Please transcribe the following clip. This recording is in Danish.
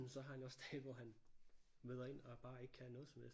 Men så har han jo også dage hvor han møder ind og bare ikke kan noget som helst